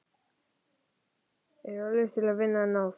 Gæfan er völtust vina, en náð